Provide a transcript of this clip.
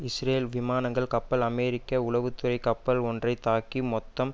Israel விமானங்கள் கப்பல் அமெரிக்க உளவு துறை கப்பல் ஒன்றை தாக்கி மொத்தம்